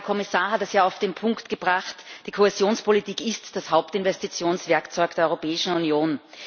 Der Herr Kommissar hat es ja auf den Punkt gebracht Die Kohäsionspolitik ist das Hauptinvestitionswerkzeug der Europäischen Union.